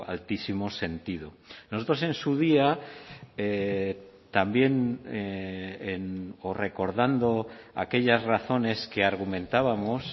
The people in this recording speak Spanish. altísimo sentido nosotros en su día también o recordando aquellas razones que argumentábamos